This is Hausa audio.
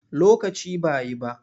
Lokaci ba yi ba.